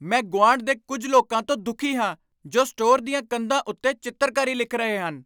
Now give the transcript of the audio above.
ਮੈਂ ਗੁਆਂਢ ਦੇ ਕੁੱਝ ਲੋਕਾਂ ਤੋਂ ਦੁਖੀ ਹਾਂ ਜੋ ਸਟੋਰ ਦੀਆਂ ਕੰਧਾਂ ਉੱਤੇ ਚਿੱਤਰਕਾਰੀ ਲਿਖ ਰਹੇ ਹਨ।